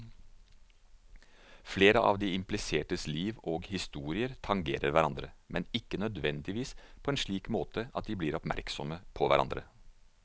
Flere av de implisertes liv og historier tangerer hverandre, men ikke nødvendigvis på en slik måte at de blir oppmerksomme på hverandre.